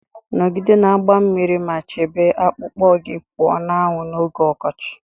Nọgide na-agba mmiri ma chebe akpụkpọ gị pụọ na anwụ n'oge ọkọchị